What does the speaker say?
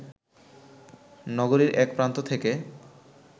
নগরীর এক প্রান্ত থেকে